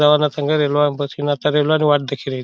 रिजर व रंग जवाना रंगाती रेल्वे नी वाट देखी रई.